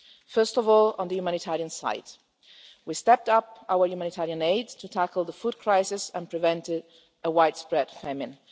First of all, on the humanitarian side, we stepped up our humanitarian aid to tackle the food crisis and prevent a widespread famine.